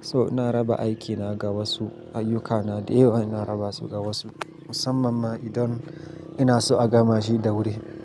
So ina raba aikina ga wasu, ayyukana da yawa ina raba su ga wasu musamman ma idan ina so a gama shi da wuri.